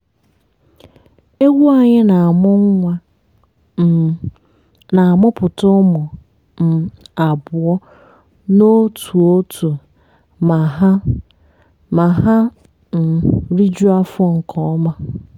ewu anyị na-amụ nwa um na-amụpụta ụmụ um abụọ n'otu n'otu ma ha ma ha um rijuo afọ nke ọma.